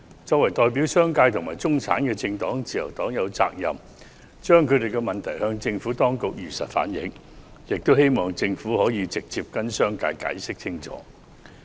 作為代表商界和中產的政黨，自由黨有責任向政府當局如實反映當中的問題，並希望政府可以直接向商界解釋清楚。